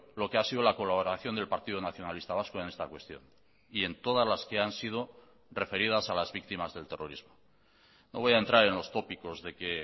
lo que ha sido la colaboración del partido nacionalista vasco en esta cuestión y en todas las que han sido referidas a las víctimas del terrorismo no voy a entrar en los tópicos de que